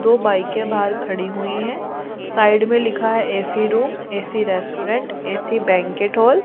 दो बाईकें बाहर खड़ी हुई हैं साइड में लिखा है A C room A C restaurant A C banquet hall.